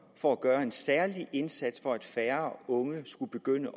for at gøre en særlig indsats for at færre unge skulle begynde